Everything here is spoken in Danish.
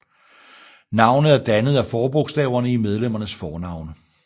Navnet er dannet af forbogstaverne i medlemmernes fornavne